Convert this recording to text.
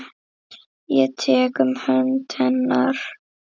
Ég tek um hönd hennar.